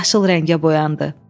Yaşıl rəngə boyandı.